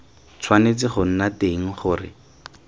tshwanetse go nna teng gore